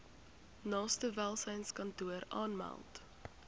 naaste welsynskantoor aanmeld